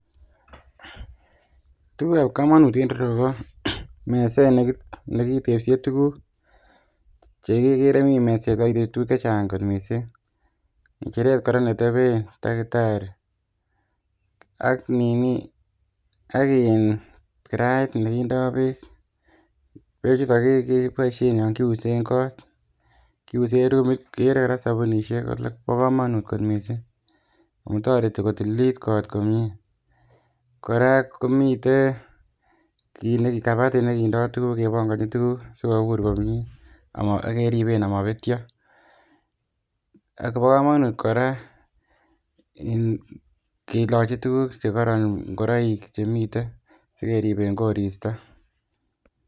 Tugukab komonut en ireyu ko meset neki nekitepsie tuguk chekekere mii meset nekokinde tuguk chechang kot missing ng'echeret kora neteben takitari ak nini ak in kirait nekindoo beek, beek chuto keboisien yon kiusen kot kiusen rumit ikere kora sobunisiek kole bo komonut kot missing amun toreti kotililit kot komie kora komiten kit kabatit nekindoo tuguk kebongonchin tuguk sikobur komie amo ak keriben amobetyo ak bo komonut kora in kilochi tuguk chekoron ngoroik chemiten sikeriben koristo